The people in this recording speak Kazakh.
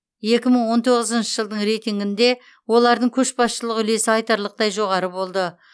екі мың он тоғызыншы жылдың рейтингінде олардың көшбасшылық үлесі айтарлықтай жоғары болды